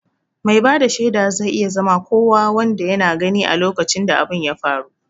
Mai bada shaida zai iya zama kowa wanda yana gani a lokacin da abun ya faru